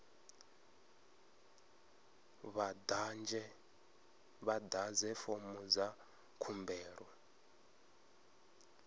vha ḓadze fomo dza khumbelo